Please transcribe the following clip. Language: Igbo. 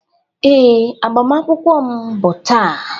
Ee, agbamakwụkwọ m bụ taa